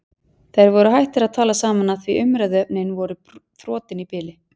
Þær voru hættar að tala saman af því umræðuefnin voru þrotin í bili.